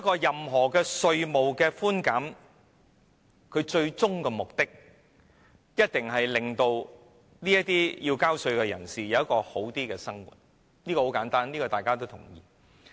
任何稅務寬減，最終目的一定是要令納稅人有較好的生活；這是很簡單的概念，我相信大家都會同意。